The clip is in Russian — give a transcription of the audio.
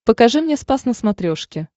покажи мне спас на смотрешке